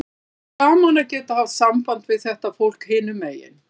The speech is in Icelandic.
Það var gaman að geta haft samband við þetta fólk hinum megin.